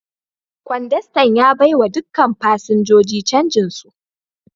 Kwandastan ya baiwa dukkan fasinjojin canjin su.